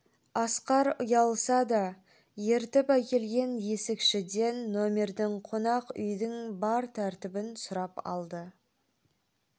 асқар ұялса да ертіп әкелген есікшіден нөмердің қонақ үйдің бар тәртібін сұрап алды